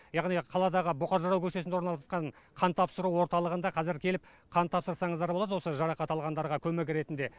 яғни қаладағы бұқар жырау көшесінде орналасқан қан тапсыру орталығында қазір келіп қан тапсырсаңыздар болады осы жарақат алғандарға көмек ретінде